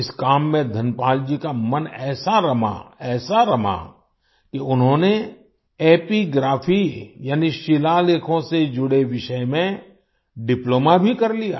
इस काम में धनपाल जी का मन ऐसा रमा ऐसा रमा कि उन्होंने एपिग्राफी एपिग्राफी यानि शिलालेखों से जुड़े विषय में डिप्लोमा भी कर लिया